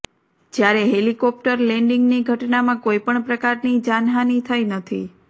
જ્યારે હેલિકોપ્ટર લેન્ડિંગની ઘટનામાં કોઈપણ પ્રકારની જાનહાની થઈ નથી